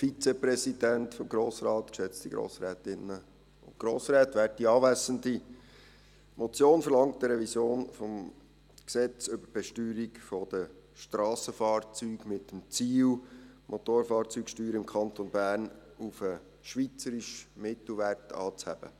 Die Motion verlangt eine Revision des Gesetzes über die Besteuerung der Strassenfahrzeuge (BSFG) mit dem Ziel, die Motorfahrzeugsteuern im Kanton Bern auf den schweizerischen Mittelwert anzuheben.